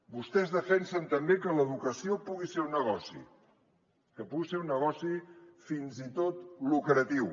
vostès defensen també que l’educació pugui ser un negoci que pugui ser un negoci fins i tot lucratiu